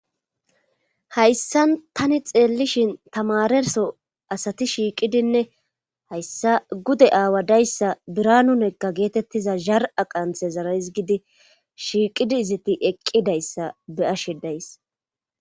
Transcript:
Hayssan tani xeellishin tamarerso asati shiiqidinne hayssa gude aawa dayssa biranunekka geetettiza zar7a qanthe zaraizgidi shiiqidi izati eqqidayssa beyashidays.